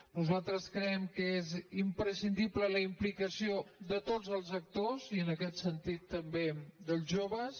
nosaltres creiem que és imprescindible la implicació de tots els actors i en aquest sentit també dels joves